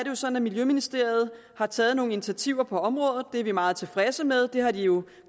jo sådan at miljøministeriet har taget nogle initiativer på området det er vi meget tilfredse med har de jo